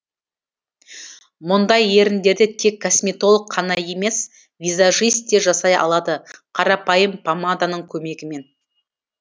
мұндай еріндерді тек косметолог қана емес визажит те жасай алады қарапайым помаданың көмегімен